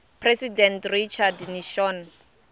president richard nixon